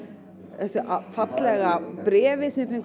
þessu fallega bréfi sem við fengum